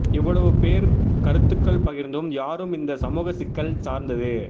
இவ்வளவு பேர் கருத்துக்கள் பகிர்ந்தும் யாரும் இந்த சமூக சிக்கல் சார்ந்து